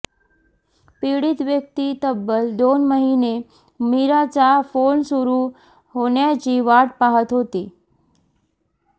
पीडित व्यक्ती तब्बल दोन महिने मीराचा फोन सुरू होण्याची वाट पाहत होती